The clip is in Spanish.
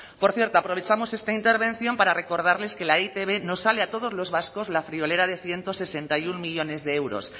por cierto aprovechamos esta intervención para recordarles que la e i te be nos sale a todos los vascos la friolera de ciento sesenta y uno millónes de euros